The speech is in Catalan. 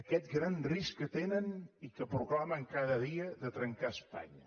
aquest gran risc que tenen i que proclamen cada dia de trencar espanya